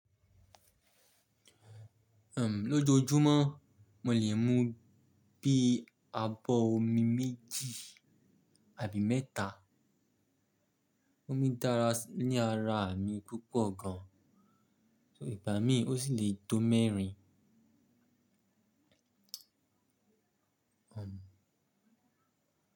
Lójoojúmọ́ mo lè mu bí abọ́ omi méjì àbí mẹ́ta. Omi dára ní ara mi púpọ̀ gan, ìgbá mi ó sì lè tó mẹ́rin.